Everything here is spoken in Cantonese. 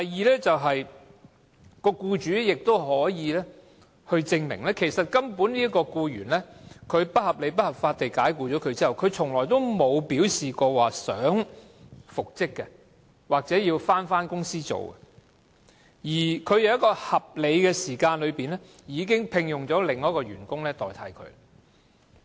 第二點，僱主亦可以證明，該名被不合理及不合法地解僱的僱員，從來沒有表示有意復職或返回公司工作，而他亦已在合理時間內聘用另一名員工取代被解僱的員工。